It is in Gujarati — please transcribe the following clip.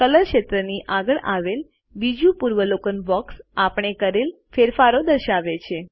કલર ક્ષેત્રની આગળ આવેલ બીજુ પૂર્વાવલોકન બોક્સ આપણે કરેલ ફેરફારો દર્શાવે છે